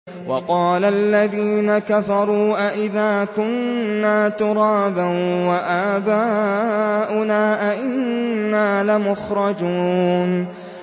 وَقَالَ الَّذِينَ كَفَرُوا أَإِذَا كُنَّا تُرَابًا وَآبَاؤُنَا أَئِنَّا لَمُخْرَجُونَ